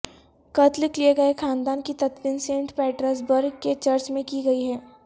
قتل کیے گئے خاندان کی تدفین سینٹ پیٹرز برگ کے چرچ میں کی گئی ہے